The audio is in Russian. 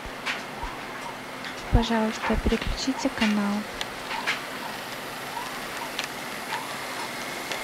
пожалуйста переключите канал